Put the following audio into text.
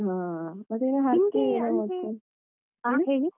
ಹ ಮತ್ತೆ .